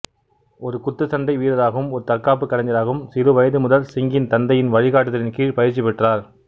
ஒரு குத்துச்சண்டை வீரராகவும் ஒரு தற்காப்புக் கலைஞராகவும் சிறுவயது முதல் சிங்கின் தந்தையின் வழிகாட்டுதலின் கீழ் பயிற்சிப் பெற்றார்